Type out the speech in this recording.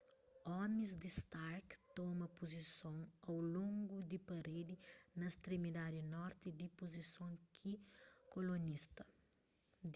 omis di stark toma puzison au longu di paredi na stremidadi norti di puzison di kolonista